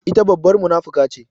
Ita babbar munafuka ce.